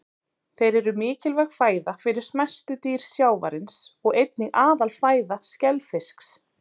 Þeir eru mikilvæg fæða fyrir smæstu dýr sjávarins og einnig aðalfæða skelfisks.